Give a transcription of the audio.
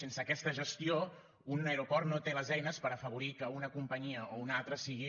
sense aquesta gestió un aeroport no té les eines per afavorir que una companyia o una altra sigui